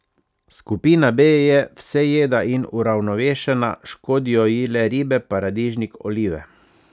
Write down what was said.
Skupina B je vsejeda in uravnovešena, škodijo ji le ribe, paradižnik, olive.